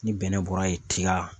Ni bɛnɛ bɔra yen tiga